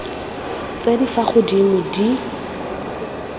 tse di fa godimo di